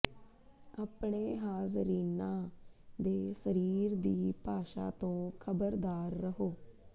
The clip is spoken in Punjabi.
ਆਪਣੇ ਹਾਜ਼ਰੀਨਾਂ ਦੇ ਸਰੀਰ ਦੀ ਭਾਸ਼ਾ ਤੋਂ ਖ਼ਬਰਦਾਰ ਰਹੋ